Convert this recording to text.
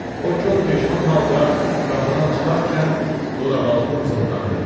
O kor peşman halda qapıdan çıxarkən dodaqaltı mızıldandı.